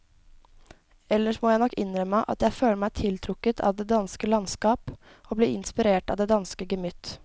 Ellers må jeg nok innrømme at jeg føler meg tiltrukket av det danske landskap og blir inspirert av det danske gemytt.